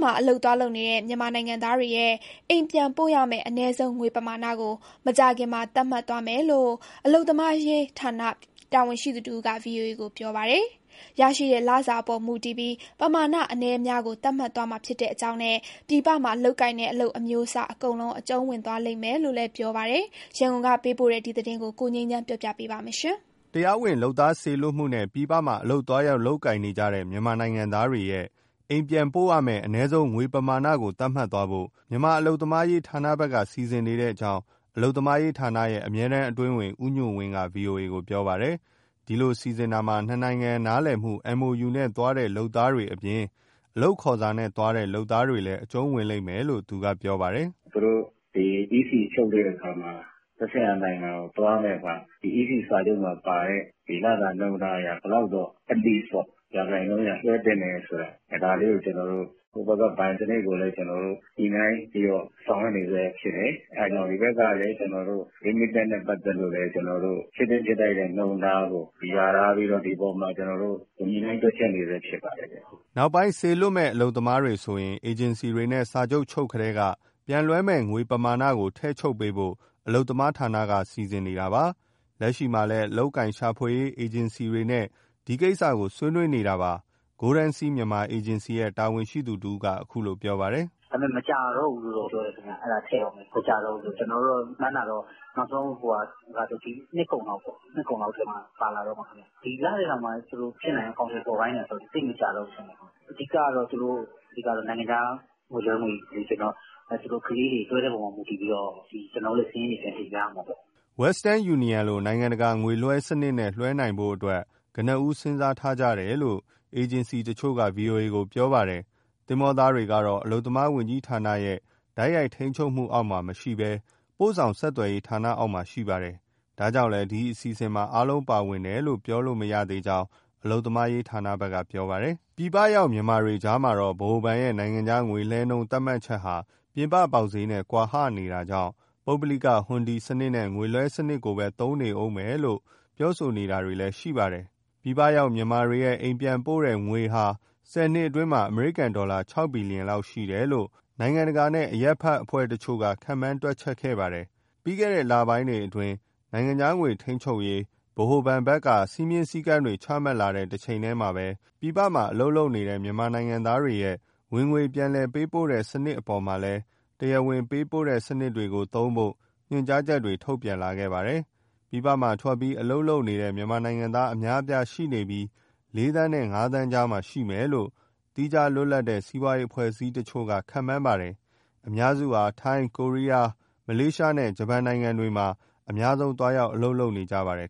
မှာအလုပ်သွားလုပ်နေတဲ့ မြန်မာနိုင်ငံသားတွေရဲ့အိမ်ပြန်ပို့ရမယ့် အနည်းဆုံးငွေပမာဏကို မကြာခင် သတ်မှတ်သွားမယ်လို့ အလုပ်သမားရေးဌာနတာဝန်ရှိသူတဦးက VOA ကို ပြောပါတယ်။ ရရှိတဲ့လစာအပေါ်မူတည်ပြီး ပမာဏအနည်းအများကို သတ်မှတ်သွားမှာဖြစ်ကြောင်းနဲ့ ပြည်ပမှာလုပ်ကိုင်တဲ့ အလုပ်အမျိုးအစား အကုန်လုံး အကျုံးဝင်လိမ့်မယ်လို့ ပြောပါတယ်။ ရန်ကုန်ကပေးပို့တဲ့ ဒီသတင်းကို ကိုငြိမ်းချမ်းက တင်ပြပေးထားပါတယ်။ တရားဝင် လုပ်သားစေလွှတ်မှုနဲ့ ပြည်ပမှာ အလုပ်သွားရောက် လုပ်ကိုင်နေတဲ့ မြန်မာနိုင်ငံသားတွေရဲ့ အိမ်ပြန်ပို့ရမယ့် အနည်းဆုံးငွေပမာဏကို သတ်မှတ်သွားဖို့ မြန်မာအလုပ်သမားရေးဌာနဘက်က စီစဉ်နေတာဖြစ်ကြောင်း အလုပ်သမားရေးဌာနရဲ့ အမြဲတမ်းအတွင်းဝန် ဦးညွှန့်ဝင်းက ဗွီအိုအေကို ပြောပါတယ်။ ဒီလိုစီစဉ်တာမှာ နှစ်နိုင်ငံနားလည်မှု MoU နဲ့သွားတဲ့ လုပ်သားတွေအပြင် အလုပ်ခေါ်စာနဲ့သွားတဲ့ လုပ်သားတွေလည်း အကျုံးဝင်လိမ့်မယ်လို့ သူက ပြောပါတယ်။ " သူတို့ EC ချုပ်တဲ့အခါမှာ သက်ဆိုင်ရာနိုင်ငံကို သွားရတဲ့အခါမှာ ဒီ EC စာချုပ်မှာပါတဲ့ လစာနှုန်းတားအရ ဘယ်လောက်တော့ at least ပေါ့- ရာခိုင်နှုန်းအရ လွှဲသင့်တယ်ဆိုတာ ဒါလေးကို ကျနော်တို့... ဟိုဘက်ကဘဏ်စနစ်ကိုလည်း ကျနော်တို့ ညှိနှိုင်းပြီးတော့ ဆောင်ရွက်နေဆဲဖြစ်တယ်။ အဲဒါကြောင့် ဒီဘက်ကလည်း remittance နဲ့ ပတ်သက်လို့ ဖြစ်သင့်ဖြစ်ထိုက်တဲ့ နှုန်းတားကို လျာထားပြီးတော့ ဒီအပေါ်မှာကျနော်တို့ ညှိနှိုင်းတွက်ချက်နေဆဲ ဖြစ်ပါတယ်။" နောက်ပိုင်းစေလွှတ်မယ့် အလုပ်သမားတွေဆိုရင် အေဂျင်စီတွေနဲ့ စာချုပ်ချုပ်ကတည်းက ပြန်လွှဲမယ့်ငွေပမာဏကို ထည့်ချုပ်ပေးဖို့ အလုပ်သမားဌာနဆက်က စီစဉ်နေတာပါ။ လက်ရှိမှာလည်း အလုပ်အကိုင်ရှာဖွေရေး အေဂျင်စီတွေနဲ့ ဒီကိစ္စကို ဆွေးနွေးနေတာ ဖြစ်ပါတယ်။ Golden Sea Myanmar အေဂျင်စီရဲ့ တာဝန်ရှိသူတဦးက အခုလိုပြောပါတယ်။ " ဒါပေမယ့် မကြာတော့ဘူးလို့ ပြောတယ်ခင်ဗျ၊ ထည့်တော့မယ် အဲဒါကိုလေ။ ကျနော်တို့ မှန်းတာတော့ နောက်ဆုံး ဒီနှစ်ကုန်လောက်ထဲမှာ ပါလာတော့မှာ။ ဒီလထဲတောင်မှ ဖြစ်နိုင်ရင် အကောင်အထည်ဖော်ခိုင်းတယ်ဆိုတော့ သိပ်မကြာတော့ဘူး ထင်ပါတယ်။ အဓိကတော့ သူတို့နိုင်ငံခြားငွေလွှဲငွေ လိုချင်တော့ ကလေးတွေ လွှဲတဲ့အပေါ်မူတည်ပြီးတော့ ကျနော်တို့လည်း စာရင်းတွေ ပြန်တင်ပြရမှာပေါ့။" Western Union လိုနိုင်ငံတကာ ငွေလွှဲစနစ်နဲ့လွှဲနိုင်ဖို့ ကနဦး စဉ်းစားထားကြတယ်လို့ အေဂျင်စီတချို့က ဗွီအိုအေကို ပြောပါတယ်။ သင်္ဘာသားတွေကတော့ အလုပ်သမားဝန်ကြီးဌာနရဲ့ တိုက်ရိုက်ထိန်းချုပ်မှုအောက်မှာမရှိဘဲ ပို့ဆောင်ဆက်သွယ်ရေးဌာနအောက်မှာ ရှိပါတယ်။ ဒါကြောင့်လည်း ဒီအစီစဉ်မှာ အားလုံးပါဝင်တယ်လို့ ပြောလို့မရသေးကြောင်း အလုပ်ရေးဌာနဘက်က ပြောပါတယ်။ ပြည်ပရောက်မြန်မာတွေကြားမှာတော့ ဗဟိုဘဏ်ရဲ့ နိုင်ငံခြားငွေလဲနှုန်း သတ်မှတ်ချက်ဟာ ပြင်ပ ပေါက်ဈေးနဲ့ ကွာဟနေတာကြောင့် ပုဂ္ဂလိက ဟွန်ဒီစနစ်နဲ့ ငွေလွှဲစနစ်ကိုပဲသုံးနေဦးမယ်ဆိုပြီး ပြောဆိုတာတွေလည်း ရှိနေပါတယ်။ ပြည်ပရောက်မြန်မာတွေရဲ့ အိမ်ပြန်ပို့တဲ့ငွေဟာ ဆယ်နှစ်အတွင်းမှာ အမေရိကန်ဒေါ်လာ ၆ ဘီလီယံလောက်ရှိတယ်လို့ နိုင်ငံတကာနဲ့ အရပ်ဘက်အဖွဲ့တချို့က ခန့်မှန်းတွက်ချက်ခဲ့ပါတယ်။ ပြီးခဲ့တဲ့လပိုင်းအတွင်း နိုင်ငံခြားငွေ ထိန်းချုပ်ရေး ဗဟိုဘဏ်ဘက်က စည်းမျဉ်းစည်းကမ်းတွေ ချမှတ်လာတဲ့တချိန်တည်းမှာ ပြည်ပမှာအလုပ်လုပ်နေတဲ့ မြန်မာနိုင်ငံသားတွေရဲ့ဝင်ငွေ ပြန်လည်ပေးပို့စတဲ့ စနစ်တွေအပေါ်မှာလည်း တရားဝင်ပေးပို့တဲ့ စနစ်တွေကို သုံးဖို့ ညွှန်ကြားချက်တွေ ထုတ်ပြန်လာခဲ့ပါတယ်။ ပြည်ပမှာ ထွက်ပြီး အလုပ်လုပ်နေတဲ့ မြန်မာနိုင်ငံသားအများအပြားရှိနေပြီး ၄ သန်းနဲ့ ၅ သန်းကြားမှာ ရှိမယ်လို့ သီးခြားလွတ်လပ်တဲ့ စီးပွားရေးအဖွဲ့အစည်းတချို့က ခန့်မှန်းပါတယ်။ အများစုဟာ ထိုင်း၊ ကိုရီးယား၊ မလေးရှားနဲ့ ဂျပန်နိုင်ငံတွေမှာ အများဆုံး သွားရောက်အလုပ်လုပ်နေကြပါတယ်